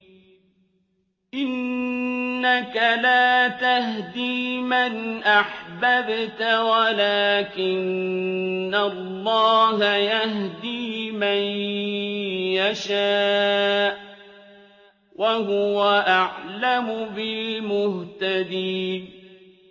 إِنَّكَ لَا تَهْدِي مَنْ أَحْبَبْتَ وَلَٰكِنَّ اللَّهَ يَهْدِي مَن يَشَاءُ ۚ وَهُوَ أَعْلَمُ بِالْمُهْتَدِينَ